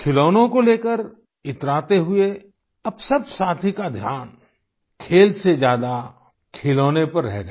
खिलौने को लेकर इतराते हुए अब सब साथी का ध्यान खेल से ज्यादा खिलौने पर रह गया